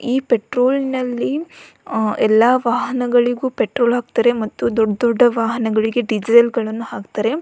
ಈ ಪೆಟ್ರೋಲ್ ನಲ್ಲಿ ಎಲ್ಲ ವಾಹನಗಳಿಗೆ ಪೆಟ್ರೋಲ್ ಹಾಕ್ತಾರೆ ಮತ್ತು ದೊಡ್ಡ್ ದೊಡ್ಡ ವಾಹನಗಳಿಗೆ ಡಿಸೇಲ್ ಗಳನ್ನು ಹಾಕ್ತಾರೆ.